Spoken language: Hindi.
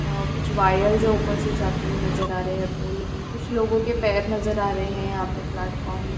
और कुछ वायर्स ऊपर से जाते हुए नजर आ रहे हैं पोल पे कुछ लोगो के पैर नजर आ रहे हैं यहाँ प्लेटफार्म में --